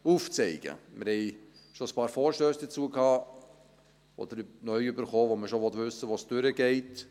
Wir haben schon einige Vorstösse dazu gehabt oder neu erhalten, bei denen man schon wissen möchte, wo es durchgeht.